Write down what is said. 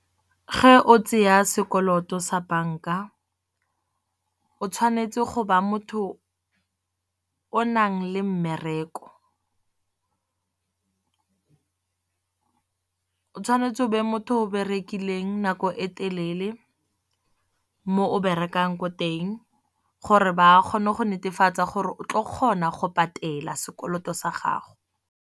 Ge o tsaya sekoloto sa bank-a o tshwanetse go ba motho o nang le mmereko. O tshwanetse o be motho o berekileng nako e telele mo o berekang ko teng. Gore ba kgone go netefatsa gore o tlo kgona go patela sekoloto sa gago.